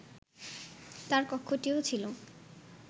তার কক্ষটিও ছিল